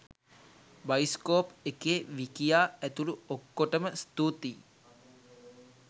bioscope එකේ විකියා ඇතුළු ඔක්කොටම ස්තුතියි